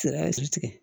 Sira tigɛ